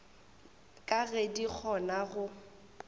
ka ge di kgona go